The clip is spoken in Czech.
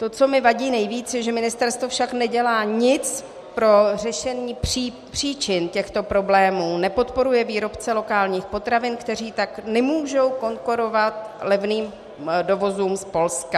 To, co mi vadí nejvíce, je, že ministerstvo však nedělá nic pro řešení příčin těchto problémů, nepodporuje výrobce lokálních potravin, kteří tak nemůžou konkurovat levným dovozům z Polska.